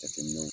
Jateminɛw